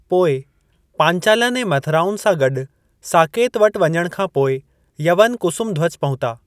पोइ, पांचालनि ऐं मथुराउनि सां गॾु साकेत वटि वञण खां पोइ, यवन कुसुमध्वज पहुता।